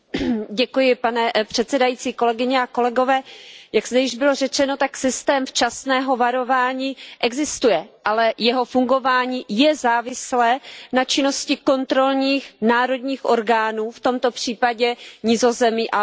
Pane předsedající, jak zde již bylo řečeno, tak systém včasného varování existuje, ale jeho fungování je závislé na činnosti kontrolních národních orgánů, v tomto případě Nizozemska a Belgie.